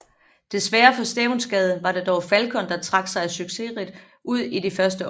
Desværre for Stevnsgade var det dog Falcon der trak sig succesrigt ud i de første opgør